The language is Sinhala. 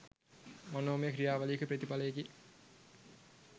මනෝමය ක්‍රියාවලියක ප්‍රතිඵලයකි.